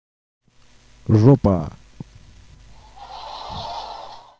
жопа